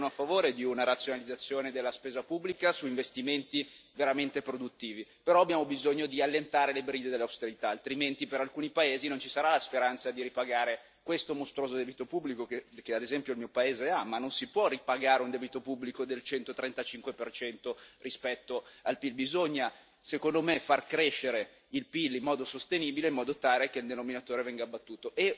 Io sono a favore di una razionalizzazione della spesa pubblica su investimenti veramente produttivi, però abbiamo bisogno di allentare le briglie dell'austerità, altrimenti per alcuni paesi non ci sarà la speranza di ripagare questo mostruoso debito pubblico, che ad esempio il mio paese ha, ma non si può ripagare un debito pubblico del 135 per cento rispetto al PIL, bisogna secondo me far crescere il PIL in modo sostenibile, in modo tale che il denominatore venga abbattuto.